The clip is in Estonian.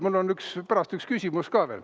Mul on pärast üks küsimus ka.